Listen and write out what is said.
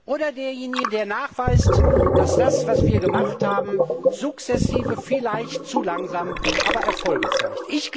Oder derjenige, der nachweist, dass das, was wir gemacht haben, sukzessive, vielleicht zu langsam, aber doch Erfolge zeigt.